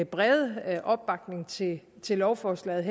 brede opbakning til til lovforslaget